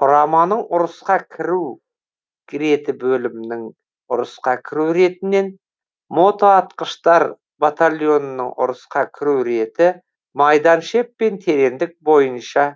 құраманың ұрысқа кіру реті бөлімнің ұрысқа кіру ретінен мотоатқыштар батальонының ұрысқа кіру реті майданшеп пен терендік бойынша